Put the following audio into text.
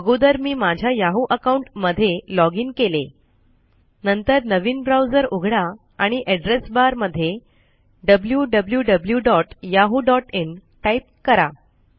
अगोदर मी माझ्या याहू अकाउंट मध्ये लॉगइन केलेltPausegt नंतर नवीन ब्राउजर उघडा आणि एड्रेस बार मध्ये wwwyahooin टाईप करा